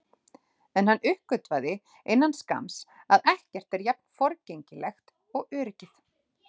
En hann uppgötvaði innan skamms að ekkert er jafn forgengilegt og öryggið.